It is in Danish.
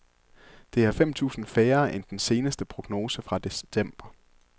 Det er fem tusind færre end den seneste prognose fra december.